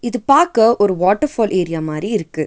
இது பாக்க ஒரு வாட்டர் ஃபால் ஏரியா மாரி இருக்கு.